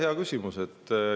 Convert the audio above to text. Hea küsimus.